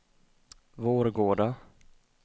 Vårgårda